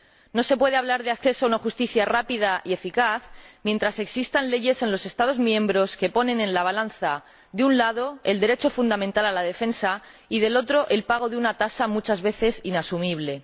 No se puede hablar de acceso a una justicia rápida y eficaz mientras existan leyes en los Estados miembros que ponen en la balanza, de un lado, el derecho fundamental a la defensa y, del otro, el pago de una tasa muchas veces inasumible.